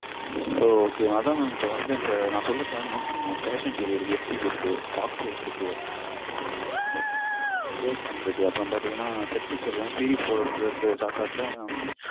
ஓ ok mam. அத mam. இப்போ நா சொல்ற channel அ note பண்ணிக்கோங்க. fashion TV இருக்கு FTV இருக்கு. fox life இருக்கு. AXN இருக்கு. அப்பறம் பாத்தீங்கனா Set Flixer ல series போடறேங்கற சாக்காட்ல